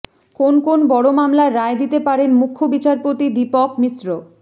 কোন কোন বড় মামলার রায় দিতে পারেন মুখ্য বিচারপতি দীপক মিশ্র